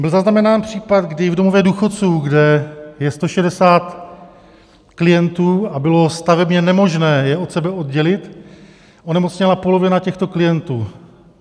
Byl zaznamenán případ, kdy v domově důchodců, kde je 160 klientů a bylo stavebně nemožné je od sebe oddělit, onemocněla polovina těchto klientů.